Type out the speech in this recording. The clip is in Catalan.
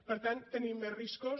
per tant tenim més riscos